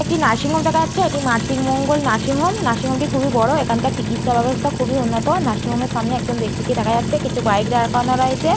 একটি নার্সিংহোম দেখা যাচ্ছে এটি মাতৃমঙ্গল নার্সিংহোম নার্সিংহোম -টি খুবই বড় এখানকার চিকিৎসা ব্যবস্থা খুবই উন্নত নার্সিংহোম -এর সামনে একটি ব্যক্তিকে দেখা যাচ্ছে কিছু বাইক দাঁড় করানো রয়চে।